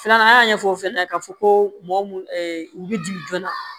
Filanan an y'a ɲɛfɔ fana k'a fɔ ko mɔgɔ mun bɛ jigin joona